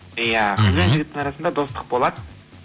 иә мхм қыз бен жігіттің арасында достық болады